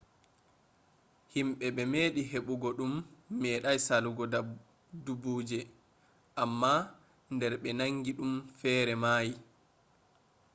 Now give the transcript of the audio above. himbe be medi hebugo dum medai salugo dubbuje amma der be nangi dum fere mayi